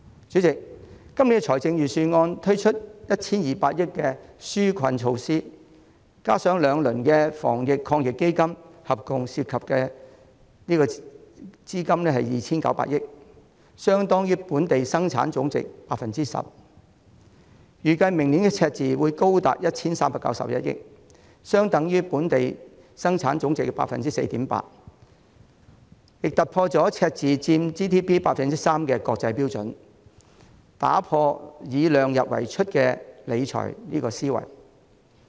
主席，今年的預算案推出 1,200 億元的紓困措施，加上兩輪防疫抗疫基金，合共涉資 2,900 億元，相當於本地生產總值 10%， 預計明年赤字將高達 1,391 億元，相當於本地生產總值 4.8%， 亦超出了赤字佔本地生產總值 3% 的國際標準，打破量入為出的理財思維。